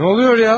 Nə baş verir ya?